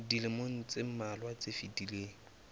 dilemong tse mmalwa tse fetileng